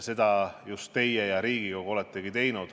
Seda just teie ja Riigikogu oletegi teinud.